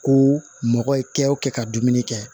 Ko mɔgɔ ye kɛ o kɛ ka dumuni kɛ